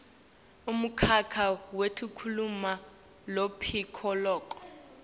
umkhakha wetekulima lophilako